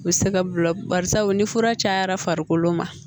U bɛ se ka bila barisabu ni fura cayara farikolo ma